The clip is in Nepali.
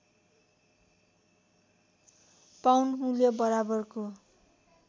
पाउन्ड मूल्य बराबरको